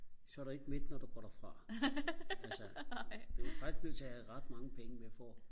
så er du ikke mæt når du går derfra altså du er faktisk nødt til og have ret mange penge med for